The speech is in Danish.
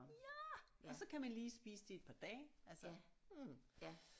Ja og så kan man lige spise det i et par dage altså mh